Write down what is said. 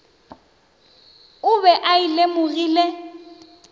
o be a e lemogile